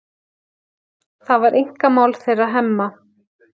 Það var einkamál þeirra Hemma.